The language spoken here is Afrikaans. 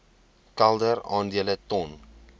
kelder aandele ton